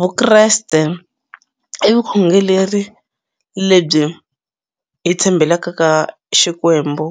Vukreste i vukhongeleri lebyi hi tshembelaka ka Xikwembu